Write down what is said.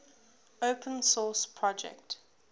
open source project